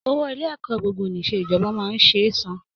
Owó Ilé ẹ̀kọ́ gbogbo-nìṣe ìjọba máa ń ṣe é san